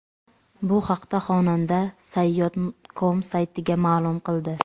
Bu haqda xonanda Sayyod.com saytiga ma’lum qildi .